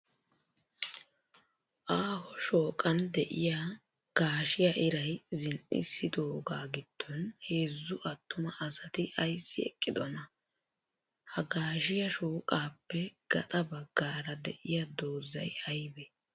Aaho shooqan diya gaashiya iray zin'issidoogaa giddon heezzu attuma asati ayissi eqqidonaa? Ha gaashiya shooqaappe gaxa baggaara de'iya dozzay ayibee?